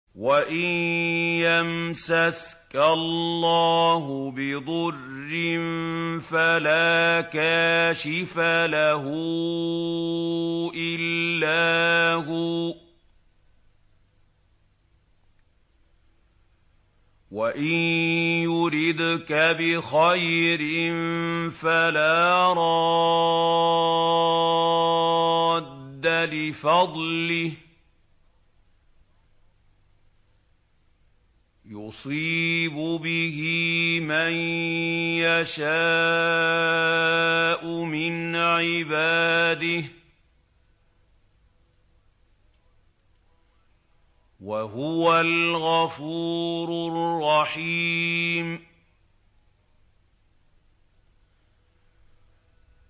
وَإِن يَمْسَسْكَ اللَّهُ بِضُرٍّ فَلَا كَاشِفَ لَهُ إِلَّا هُوَ ۖ وَإِن يُرِدْكَ بِخَيْرٍ فَلَا رَادَّ لِفَضْلِهِ ۚ يُصِيبُ بِهِ مَن يَشَاءُ مِنْ عِبَادِهِ ۚ وَهُوَ الْغَفُورُ الرَّحِيمُ